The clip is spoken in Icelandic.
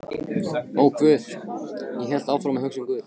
Og guð, ég hélt áfram að hugsa um guð.